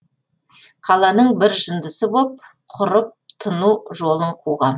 қаланың бір жындысы боп құрып тыну жолын қуғам